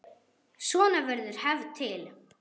Svona verður hefð til.